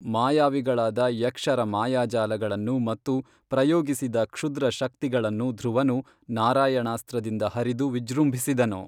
ಮಾಯಾವಿಗಳಾದ ಯಕ್ಷರ ಮಾಯಾಜಾಲಗಳನ್ನು ಮತ್ತು ಪ್ರಯೋಗಿಸಿದ ಕ್ಷುದ್ರ ಶಕ್ತಿಗಳನ್ನು ಧ್ರುವನು ನಾರಾಯಣಾಸ್ತ್ರದಿಂದ ಹರಿದು ವಿಜೃಂಭಿಸಿದನು